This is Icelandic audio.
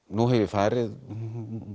nú hef ég farið